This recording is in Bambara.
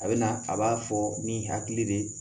A bɛ na a b'a fɔ ni hakili de ye